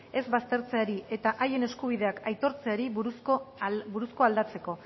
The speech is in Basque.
ez baztertzeari eta haien eskubideak aitortzeari buruzkoa aldatzekoa